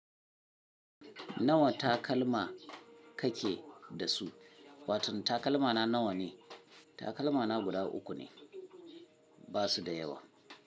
Nawa takalma kake da su? Waton takalmana nawa ne? Takalmana guda uku ne, ba su da yawa.